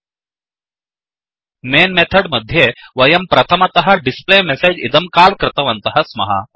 main main method मध्ये वयं प्रथमतः displayMessageडिस्प्ले मेसेज् इदं काल् कृतवन्तः स्मः